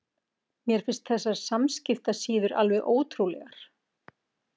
Mér finnst þessar samskiptasíður alveg ótrúlegar.